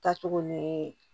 Taa cogo ni